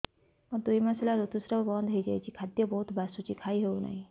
ମୋର ଦୁଇ ମାସ ହେଲା ଋତୁ ସ୍ରାବ ବନ୍ଦ ହେଇଯାଇଛି ଖାଦ୍ୟ ବହୁତ ବାସୁଛି ଖାଇ ହଉ ନାହିଁ